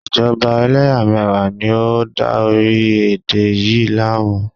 Ìjọba eléyàméyà ni o n dá orílẹ̀ èdè yi láàmú